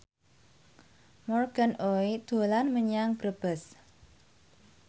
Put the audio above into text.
Morgan Oey dolan menyang Brebes